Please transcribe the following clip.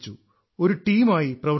ഒരു ടീമായി പ്രവർത്തിച്ചു